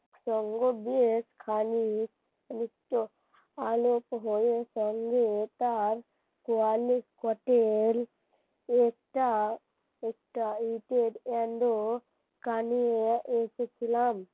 আলোর সঙ্গে হয়ে এটার এটা কানিও এসেছিলাম